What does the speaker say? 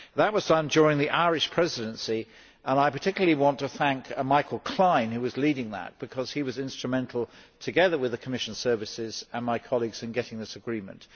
That was signed during the Irish Presidency, and I particularly want to thank Michael Klein, who was leading that, because he was instrumental together with the Commission services and my colleagues in getting this agreement.